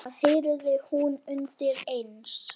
Það heyrði hún undir eins.